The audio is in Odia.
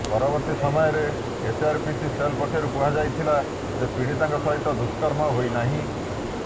ପରବର୍ତ୍ତୀ ସମୟରେ ଏଚ୍ଆରପିସି ସେଲ୍ ପକ୍ଷରୁ କୁହାଯାଇଥିଲା ଯେ ପୀଡ଼ିତାଙ୍କ ସହିତ ଦୁଷ୍କର୍ମ ହୋଇନାହିଁ